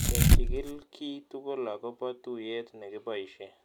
Kechikil kiy tugol akopo tuyet ne kipoishe